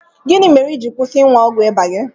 Gịnị mere i ji kwụsị ịṅụ ọgwụ ịba gị?